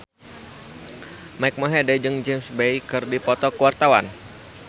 Mike Mohede jeung James Bay keur dipoto ku wartawan